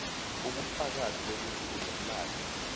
ubufakazi bokuthi unomlandu